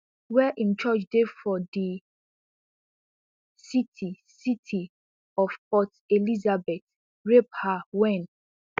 wey im church dey for di city city of port elizabeth rape her wen